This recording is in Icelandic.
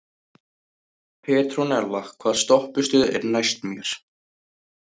Petrónella, hvaða stoppistöð er næst mér?